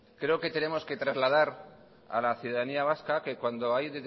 creo que tenemos que trasladar a la ciudadanía vasca que cuando hay